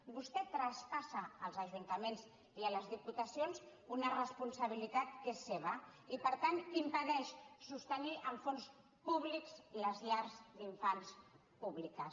vostè traspassa als ajuntaments i a les diputacions una responsabilitat que és seva i per tant impedeix sostenir amb fons públics les llars d’infants públiques